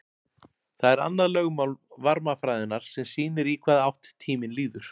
Það er annað lögmál varmafræðinnar sem sýnir í hvaða átt tíminn líður.